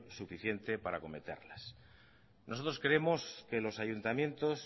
suficiente para acometerlas nosotros creemos que los ayuntamientos